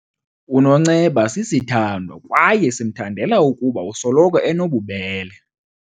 UNonceba sisithandwa kwaye simthandela ukuba usoloko enobubele.